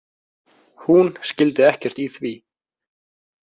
Hún skildi ekkert í því.